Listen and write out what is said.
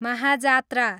महाजात्रा